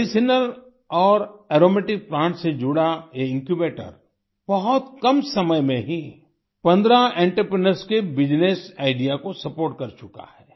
medicinal और aromatic plants से जुड़ा ये इन्क्यूबेटर बहुत कम समय में ही 15 एंटरप्रेन्योर्स के बिजनेस आईडीईए को सपोर्ट कर चुका है